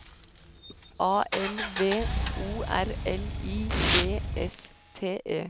A L V O R L I G S T E